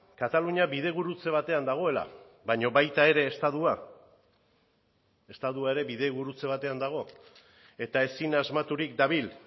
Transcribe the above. katalunia bidegurutze batean dagoela baina baita ere estatua estatua ere bidegurutze batean dago eta ezin asmaturik dabil